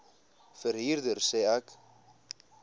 verhuurder sê ek